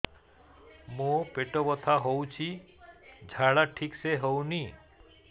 ମୋ ପେଟ ବଥା ହୋଉଛି ଝାଡା ଠିକ ସେ ହେଉନି